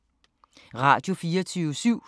Radio24syv